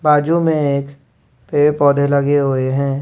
बाजू में एक पेड़ पौधे लगे हुए हैं।